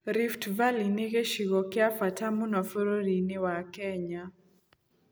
Rift Valley nĩ gĩcigo kĩa bata mũno bũrũri-inĩ wa Kenya.